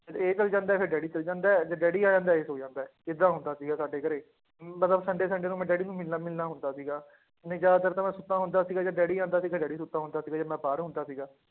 ਇਹ ਚਲੇ ਜਾਂਦਾ ਹੈ, ਫਿਰ ਡੈਡੀ ਚਲੇ ਜਾਂਦਾ ਹੈ, ਜਦ ਡੈਡੀ ਆ ਜਾਂਦਾ ਹੈ ਇਹ ਸੌਂ ਜਾਂਦਾ ਹੈ, ਏਦਾਂ ਹੁੰਦਾ ਸੀਗਾ ਸਾਡੇ ਘਰੇ, ਮਤਲਬ sunday sunday ਨੂੰ ਮੈਂ ਡੈਡੀ ਨੂੰ ਮਿਲਣਾ ਮਿਲਣਾ ਹੁੰਦਾ ਸੀਗਾ, ਨਹੀਂ ਜ਼ਿਆਦਾਤਰ ਤਾਂ ਮੈਂ ਸੁੱਤਾ ਹੁੰਦਾ ਸੀਗਾ ਜਦ ਡੈਡੀ ਆਉਂਦਾ ਸੀ ਤੇ ਡੈਡੀ ਸੁੱਤਾ ਹੁੰਦਾ ਸੀਗਾ, ਜਦ ਮੈਂ ਬਾਹਰ ਹੁੰਦਾ ਸੀਗਾ